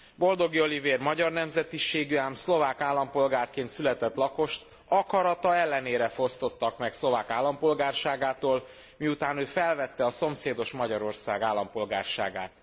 Boldogi Olivér magyar nemzetiségű, ám szlovák állampolgárként született lakost akarata ellenére fosztottak meg szlovák állampolgárságától, miután ő felvette a szomszédos Magyarország állampolgárságát.